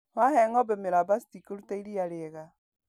Wahe ng'ombe mĩramba citikũruta iria rĩega